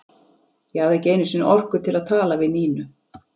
Ég hafði ekki einu sinni orku til að tala við Nínu.